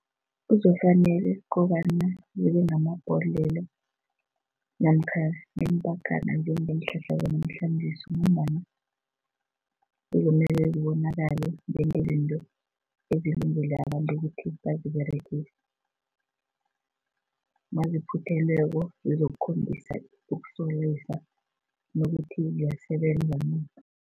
Kuzofanele ukobana zibe ngamabhodlelo namkha ngeempakana njengeenhlahla zanamhlanjesi ngombana kuzomele zibonakale njengezinto ezilungele abantu ukuthi baziberegise. Naziphuthelweko zizokhombisa ukusolisa nokuthi ziyasebenza na?